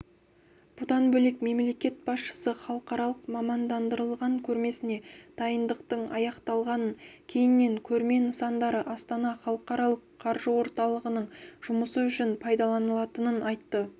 бұдан бөлек мемлекет басшысы халықаралық мамандандырылған көрмесіне дайындықтың аяқталғанын кейіннен көрме нысандары астана халықаралық қаржы орталығының жұмысы үшін пайдаланылатынын айтты